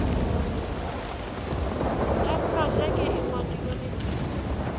ya projeke e ngwadilwe letl